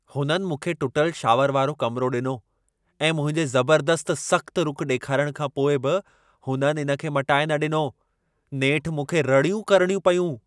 हुननि मूंखे टुटल शॉवर वारो कमिरो ॾिनो ऐं मुंहिंजे ज़बर्दस्तु सख़्तु रुख़ु ॾेखारण खां पोइ बि हुननि इन खे मटाए न ॾिनो। नेठि मूंखे रड़ियूं करणियूं पयूं।